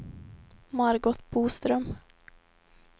Margot Boström